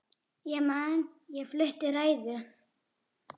Ég man ég flutti ræðu.